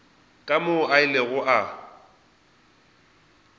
ke moo a ilego a